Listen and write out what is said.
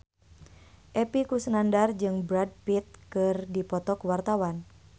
Epy Kusnandar jeung Brad Pitt keur dipoto ku wartawan